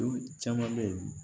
caman bɛ yen